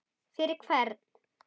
Fyrir hvern?